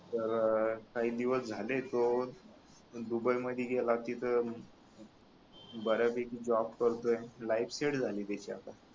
तर काही दिवस झाले तो दुबई मधी गेला तिथ ब-यापैकी जॉब करतोय लाइफ सेट झाली त्याची आता